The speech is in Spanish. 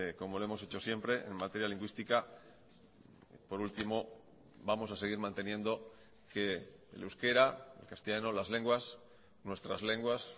como lo hemos hecho siempre en materia lingüística por último vamos a seguir manteniendo que el euskera el castellano las lenguas nuestras lenguas